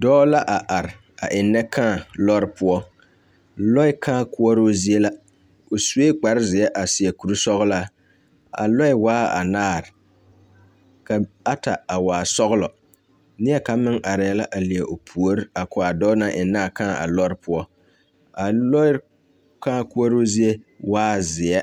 Dɔɔ la a are eŋnɛ kaa lɔɔre poɔ lɔɛ kaa koɔroo zie la o sue kparrezeɛ a seɛ koresɔglaa a lɔɛ waa anaare ka ata a waa sɔglɔ neɛkaŋ meŋ arɛɛ la leɛ o puori a ko a dɔɔ naŋ eŋnaa kaa a lɔɔre poɔ a lɔre kaa koɔroo zie waa zeɛ